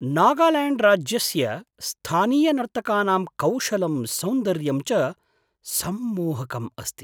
नागाल्याण्ड्राज्यस्य स्थानीयनर्तकानां कौशलं सौन्दर्यं च सम्मोहकम् अस्ति।